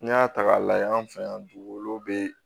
N'i y'a ta k'a lajɛ an fɛ yan dugukolo be